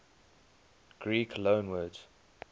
greek loanwords